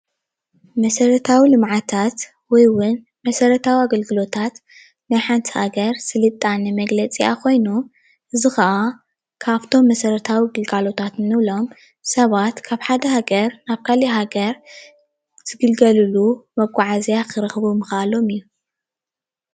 መሰረታዊ ልምዓታት ወይ እውን መሰረታዊ ኣገልግሎታት ናይ ሓንቲ ሃገር ስልጣነ መግለፂኣ ኾይኑ፣ እዚ ከዓ ካብቶም መሰረታዊ ግልጋሎታት ንብሎም ሰባት ካብ ሓደ ሃገር ናብ ካለእ ሃገር ዝግልገልሉ መጉዓዝያ ክረኽቡ ምኽአሎም እዩ።